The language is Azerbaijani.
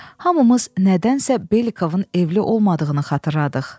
Hamımız nədənsə Belikovun evli olmadığını xatırladıq.